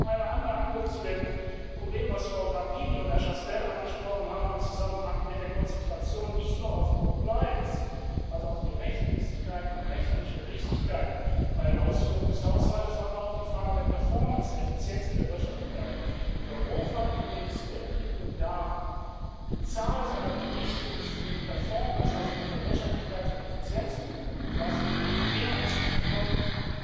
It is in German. Vielleicht noch eine Anmerkung zu dem Problem, das Frau Grapini und Herr Chastel angesprochen haben im Zusammenhang mit der Konzentration nicht nur auf Compliance, also auf die Rechtmäßigkeit und rechnerische Richtigkeit bei der Ausführung des Haushaltes, sondern auch auf die Frage der Performance, der Effizienz und der Wirtschaftlichkeit Der Hof hat in den zurückliegenden Jahren die Zahl seiner Berichte, die sich mit Performance also mit der Wirtschaftlichkeits und Effizienzprüfung befassen, mehr als verdoppelt.